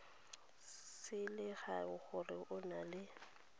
selegae gore o na le